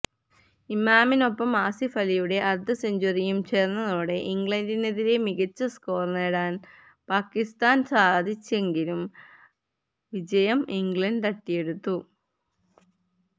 ഇമാമിനൊപ്പം ആസിഫ് അലിയുടെ അര്ധ സെഞ്ചുറിയും ചേര്ന്നതോടെ ഇംഗ്ലണ്ടിനെതിരെ മികച്ച സ്കോര് നേടാന് പാക്കിസ്ഥാന് സാധിച്ചെങ്കിലും വിജയം ഇംഗ്ലണ്ട് തട്ടിയെടുത്തു